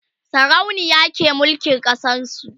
sarauniya ke mulkin ƙasar su